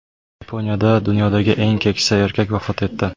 Yaponiyada dunyodagi eng keksa erkak vafot etdi.